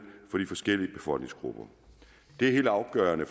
for de forskellige befolkningsgrupper det er helt afgørende